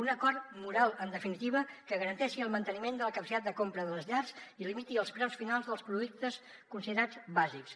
un acord moral en definitiva que garanteixi el manteniment de la capacitat de compra de les llars i limiti els preus finals dels productes considerats bàsics